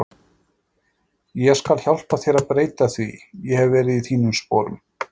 Ég skal hjálpa þér að breyta því, ég hef verið í þínum sporum.